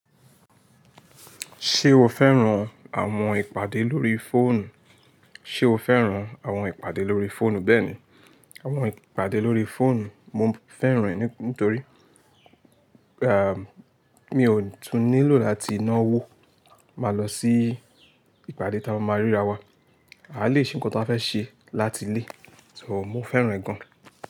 Ṣé o fẹ́ràn àwọn ìpàdé lórí fóònù? Ṣé o fẹ́ràn àwọn ìpàdé lórí fóònù? Bẹ́ẹ̀ni, àwọn ìpàdé lórí fóònù mo fẹ́ràn ẹ́, nítorí mi ò tún nílò láti ná owó máa lọ sí ìpàdé tí a máa ríra wa. A lè ṣe nǹkan tí a fẹ́ ṣe láti ilé, só mo fẹ́ràn ẹ́ gan-an.